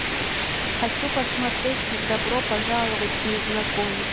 хочу посмотреть добро пожаловать незнакомец